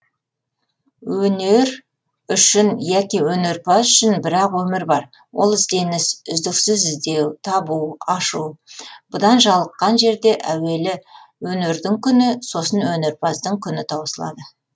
өнер үшін яки өнерпаз үшін бір ақ өмір бар ол ізденіс үздіксіз іздеу табу ашу бұдан жалыққан жерде әуелі өнердің күні сосын өнерпаздың күні таусылады